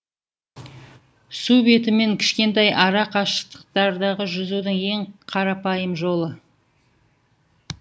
су бетімен кішкентай ара қашықтықтарда жүзудің ең қрапайым жолы